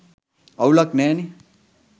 අවුලක් නෑනේ